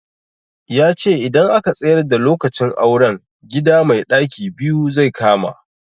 Yace idan aka tsayar da lokacin auren, gida mai ɗaki biyu zai kama.